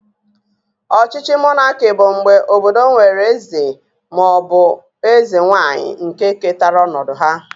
Ọchịchị monaki bụ mgbe obodo nwere eze ma ọ bụ eze nwanyị nke ketara ọnọdụ ha